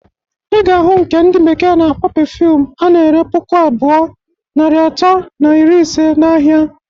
Iga ahu nke ndi bekee na-akpọ perfume ana-ere puku abụọ, narị atọ na iri ise na ahia.